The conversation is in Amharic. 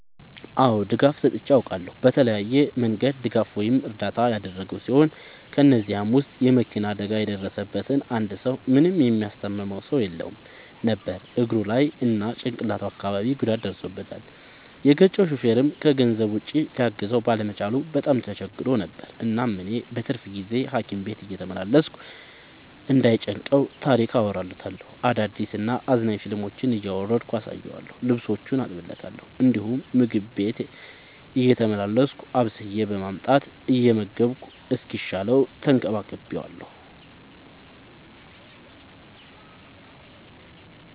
አዎ ድጋፍ ሰጥቼ አውቃለሁ። በተለያየ መንገድ ድጋፍ ወይም እርዳታ ያደረግሁ ሲሆን ከ እነዚህም ውስጥ የ መኪና አደጋ የደረሠበትን አንድ ሰው ምንም የሚያስታምመው ሰው የለውም ነበር እግሩ ላይ እና ጭቅላቱ አካባቢ ጉዳት ደርሶበታል። የገጨው ሹፌርም ከገንዘብ ውጪ ሊያግዘው ባለመቻሉ በጣም ተቸግሮ ነበር። እናም እኔ በትርፍ ጊዜዬ ሀኪም ቤት እየተመላለስኩ እንዳይ ጨንቀው ታሪክ አወራለታለሁ፤ አዳዲስ እና አዝናኝ ፊልሞችን እያወረድኩ አሳየዋለሁ። ልብሶቹን አጥብለታለሁ እንዲሁም ምግብ ቤቴ እየተመላለስኩ አብስዬ በማምጣት እየመገብኩ እስኪሻለው ተንከባክቤዋለሁ።